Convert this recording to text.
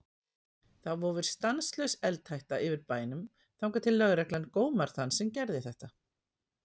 Þá vofir stanslaus eldhætta yfir bænum þangað til lögreglan gómar þann sem gerði þetta.